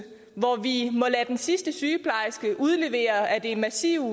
hvor vi må lade den sidste sygeplejerske udlevere af det massive